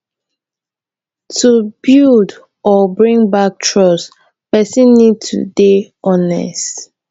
to build or bring back trust person need to dey honest